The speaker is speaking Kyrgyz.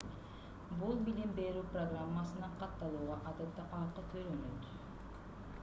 бул билим берүү программасына катталууга адатта акы төлөнөт